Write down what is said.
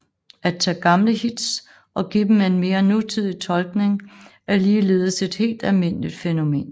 At tage gamle hits og give dem en mere nutidig tolkning er ligeledes et helt almindeligt fænomen